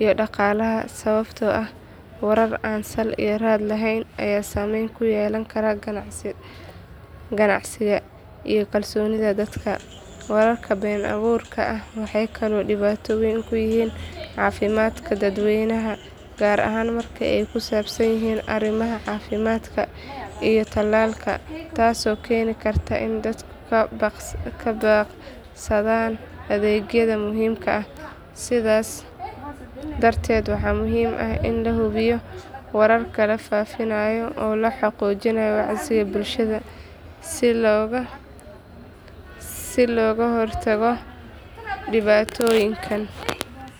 iyo dhaqaalaha sababtoo ah warar aan sal iyo raad lahayn ayaa saameyn ku yeelan kara ganacsiga iyo kalsoonida dadka. Wararka been abuurka ah waxay kaloo dhibaato weyn ku yihiin caafimaadka dadweynaha, gaar ahaan marka ay ku saabsan yihiin arrimaha caafimaadka iyo talaalka, taasoo keeni karta in dadku ka baaqsadaan adeegyada muhiimka ah. Sidaas darteed, waxaa muhiim ah in la hubiyo wararka la faafinayo oo la xoojiyo wacyiga bulshada si looga hortago dhibaatooyinkan.